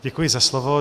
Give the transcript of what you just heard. Děkuji za slovo.